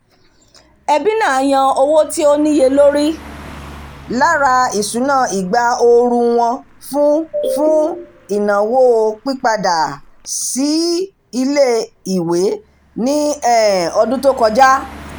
ẹbí náà yan owó tí ó níye lórí lára ìṣúná ìgbà ooru wọn fún fún ìnáwó pípadà-sí-ilé-ìwé ní um ọdún tó kọjá